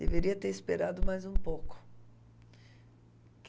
Deveria ter esperado mais um pouco.